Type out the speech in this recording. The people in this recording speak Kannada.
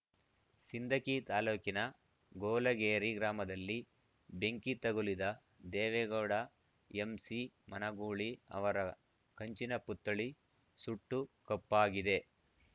ಸಿಂದಗಿ ತಾಲೂಕಿನ ಗೋಲಗೇರಿ ಗ್ರಾಮದಲ್ಲಿ ಬೆಂಕಿ ತಗುಲಿದ ದೇವೇಗೌಡ ಎಂಸಿ ಮನಗೂಳಿ ಅವರ ಕಂಚಿನ ಪುತ್ಥಳಿ ಸುಟ್ಟು ಕಪ್ಪಾಗಿದೆ